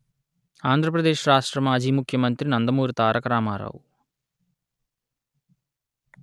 ఆంధ్ర ప్రదేశ్‌ రాష్ట్ర మాజీ ముఖ్యమంత్రి నందమూరి తారక రామారావు